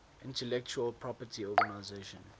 intellectual property organization